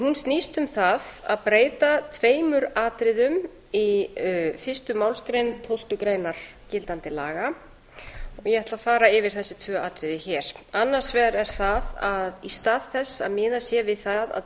hún snýst um það að breyta tveimur atriðum í fyrstu málsgrein tólftu greinar gildandi laga og ég ætla að fara yfir þessi tvö atriði hér annars vegar er það að í stað þess að miðað sé við það að